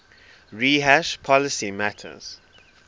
rehash policy matters